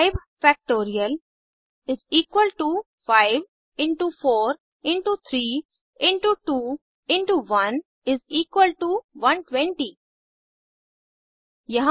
5 factorial 5 into 4 into 3 into 2 into 1 120